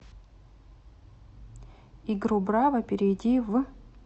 игру браво перейди в